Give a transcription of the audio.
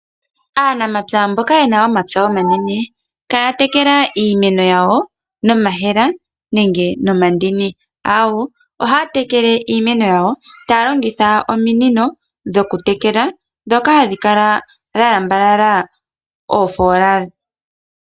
Aanamapya mboka yena omapya omanene ihaya tekele iimeno yawo nomayemele nenge nomandini, awoo, ohaya tekele iimeno yawo taya longitha ominino dhoku tekela ndhoka hadhi kala dha lambalala oofola.